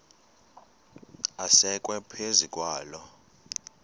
asekwe phezu kwaloo